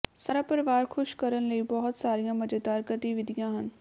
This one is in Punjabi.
ਸਾਰਾ ਪਰਿਵਾਰ ਖੁਸ਼ ਕਰਨ ਲਈ ਬਹੁਤ ਸਾਰੀਆਂ ਮਜ਼ੇਦਾਰ ਗਤੀਵਿਧੀਆਂ ਹਨ